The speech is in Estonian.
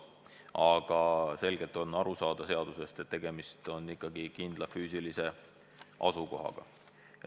Aga selgelt on aru saada, et tegemist on ikkagi kindla füüsilise asukohaga.